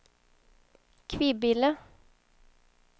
Kvibille